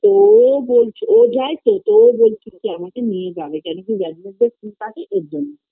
তো ওও বলছিল ও যায় তো তো ওও বলছিল আমাকে নিয়ে যাবে কেন কি ওর জন্য